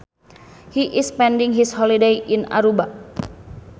He is spending his holiday in Aruba